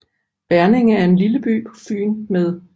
Verninge er en lille by på Fyn med